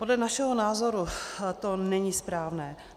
Podle našeho názoru to není správné.